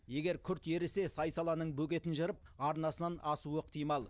егер күрт ерісе сай саланың бөгетін жырып арнасынан асуы ықтимал